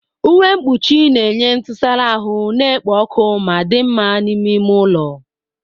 Uwe mkpuchi na-enye ntụsara ahụ na-ekpo ọkụ ma dị mma n'ime ime ụlọ.